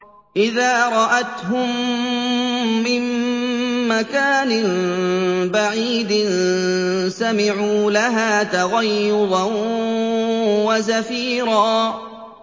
إِذَا رَأَتْهُم مِّن مَّكَانٍ بَعِيدٍ سَمِعُوا لَهَا تَغَيُّظًا وَزَفِيرًا